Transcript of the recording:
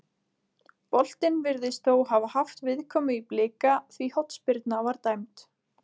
Boltinn virðist þó hafa haft viðkomu í Blika því hornspyrna var dæmd.